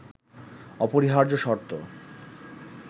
অপরিহার্য শর্ত